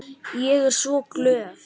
Ég er svo glöð.